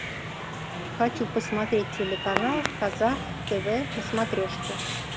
хочу посмотреть телеканал казах тв на смотрешке